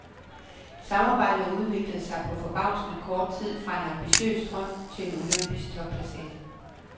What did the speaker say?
Samarbejdet udviklede sig på forbavsende kort tid fra en ambitiøs drøm til en olympisk topplacering.